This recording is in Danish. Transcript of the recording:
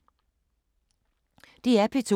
DR P2